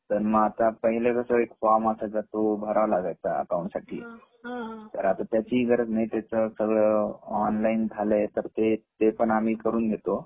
तर मग पाहिलं कस एक फ्रॉम असायचा तो भरावा लागायचा अकाऊंट साठी तर आता त्याची गरज नाही त्याच सगळ ऑनलाईन झालाय ते तर ते पण आम्ही करून घेतो